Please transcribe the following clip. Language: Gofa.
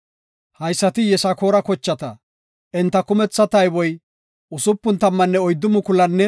Haysati Yisakoora kochata; enta kumetha tayboy 64,300.